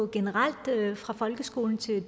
generelt fra folkeskolen til